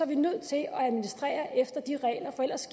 vi nødt til at administrere efter de regler for ellers